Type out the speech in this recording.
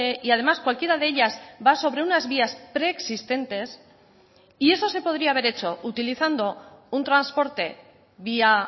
y además cualquiera de ellas va sobre unas vías preexistentes y eso se podría haber hecho utilizando un transporte vía